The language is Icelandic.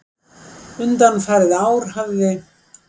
Undanfarin ár hafði